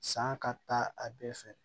San ka taa a bɛɛ fɛ